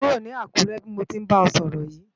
Kúró ni Akure bi mó ti nbá è sòrò yi